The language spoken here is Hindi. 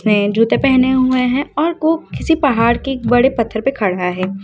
वे जूते पहने हुए हैं और ओ किसी पहाड़ के बड़े पत्थर पे खड़ा है।